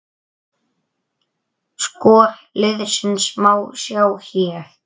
Skor liðsins má sjá hér